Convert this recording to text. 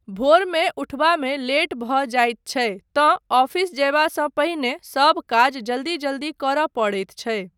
भोरमे उठबामे लेट भऽ जाइत छै तँ ऑफिस जयबासँ पहिने सब काज जल्दी जल्दी करय पड़ैत छै।